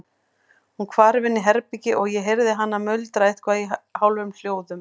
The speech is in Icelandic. Hún hvarf inn í herbergi og ég heyrði hana muldra eitthvað í hálfum hljóðum.